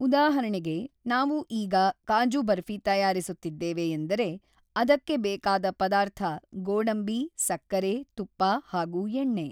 ಉದಾಹರಣೆಗೆ ನಾವು ಈಗ ಕಾಜು ಬರ್ಫ಼ಿ ತಯಾರಿಸುತ್ತಿದ್ದೇವೆ ಎಂದರೆ ಅದಕ್ಕೆ ಬೇಕಾದ ಪದಾರ್ಥ ಗೋಡಂಬಿ ಸಕ್ಕರೆ ತುಪ್ಪ ಹಾಗು ಎಣ್ಣೆ